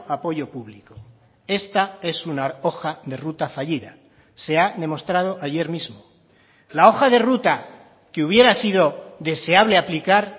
apoyo público esta es una hoja de ruta fallida se ha demostrado ayer mismo la hoja de ruta que hubiera sido deseable aplicar